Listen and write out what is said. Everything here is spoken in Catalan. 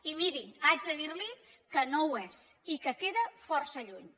i miri haig de dirli que no ho és i que queda força lluny